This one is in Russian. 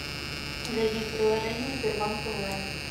зайди в приложение сбербанк онлайн